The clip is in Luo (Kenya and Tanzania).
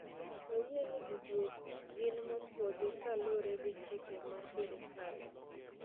"Wayieni gigieki gin mopuodhi, ka lure gi chike ma serikal.